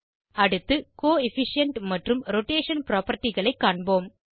அடுத்து கோஎஃபிஷியன்ட் மற்றும் ரோடேஷன் propertyகளை காண்போம்